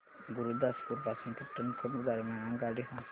गुरुदासपुर पासून पठाणकोट दरम्यान आगगाडी सांगा